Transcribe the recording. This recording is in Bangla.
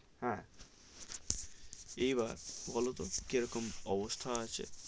হ্যাঁ এই বার বোলো তো কি রকম অবস্থা আছে?